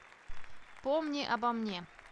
помни обо мне